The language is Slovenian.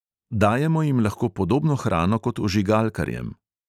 Dajemo jim lahko podobno hrano kot ožigalkarjem.